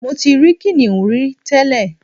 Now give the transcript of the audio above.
Mo ti ri kìnìún rí tẹ́lẹ̀